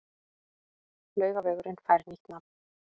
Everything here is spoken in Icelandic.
Laugavegurinn fær nýtt nafn